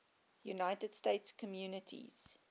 united states communities